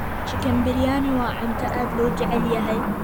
Chicken biryani waa cunto aad loo jecel yahay.